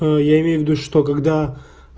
я имею в виду что когда